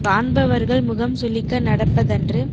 காண்பவர்கள் முகம்சுளிக்க நடப்ப தன்று